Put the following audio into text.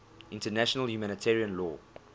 international humanitarian law